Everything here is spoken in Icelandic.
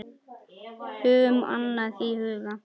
Höfum annað í huga.